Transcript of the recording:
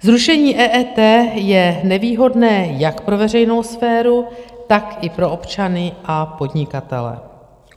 Zrušení EET je nevýhodné jak pro veřejnou sféru, tak i pro občany a podnikatele.